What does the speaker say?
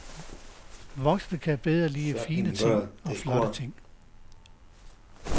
Voksne kan bedre lide fine ting og flotte ting.